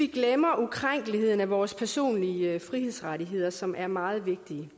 glemmer ukrænkeligheden af vores personlige frihedsrettigheder som er meget vigtige